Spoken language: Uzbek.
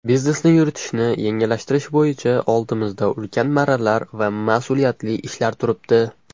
Biznesni yuritishni yengillashtirish bo‘yicha oldimizda ulkan marralar va masʼuliyatli ishlar turibdi.